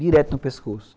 Direto no pescoço.